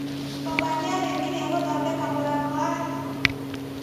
Baba nĩarĩkirie gũthondeka mũrango wa riko?